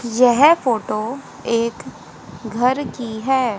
यह फोटो एक घर की है।